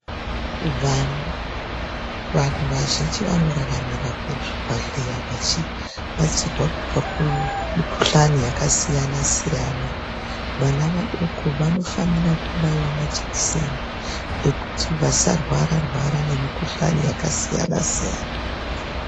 Vana vantu vazhinji vanoraramira kuzvibhedhleya vachibatsirwa kubva kumikuhlani yakasiyana-siyana. Vana vadoko vanofanira kubaiva majekiseni ekuti vasarwara-rwara ngemikuhlani yakasiyana-siyana.